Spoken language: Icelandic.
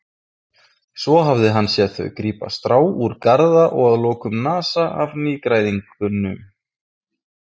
Svo hafði hann séð þau grípa strá úr garða og að lokum nasa af nýgræðingnum.